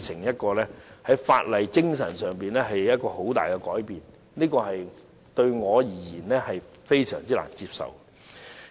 這是法例精神上一個很大的改變，對我而言，非常難接受。